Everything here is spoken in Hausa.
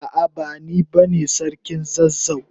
A'a, bani bane sarkin zazzau.